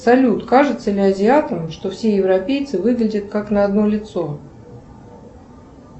салют кажется ли азиатам что все европейцы выглядят как на одно лицо